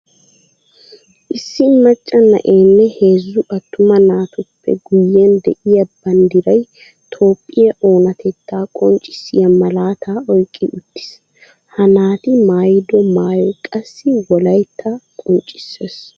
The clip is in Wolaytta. Issi maca na'enne heezzu atuma naatuppe guyen de'iya banddiray toophphiya oonatetta qonccissiya malaata oyqqi utiis. Ha naati maayido maayoy qassi wolaytta qoccisessi.